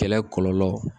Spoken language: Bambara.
Kɛlɛ kɔlɔlɔ